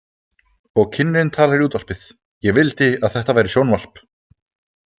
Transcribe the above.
Og kynnirinn talar í útvarpið: „Ég vildi að þetta væri sjónvarp!“